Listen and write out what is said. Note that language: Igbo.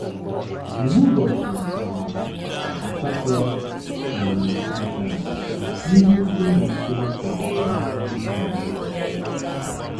Mgbe ụbọchị um asatọ um gachara, ndị isi ụlọ mkpọrọ kwere ka m hụ Magarita ọzọ.